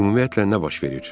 Ümumiyyətlə nə baş verir?